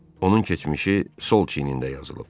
Onun keçmişi sol çiynində yazılıb.